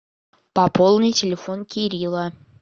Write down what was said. пополни телефон кирилла